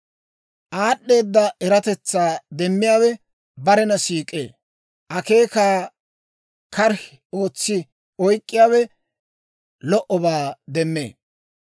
Aad'd'eeda eratetsaa demmiyaawe barena siik'ee; akeekaa karihi ootsi oyk'k'iyaawe lo"obaa demmee.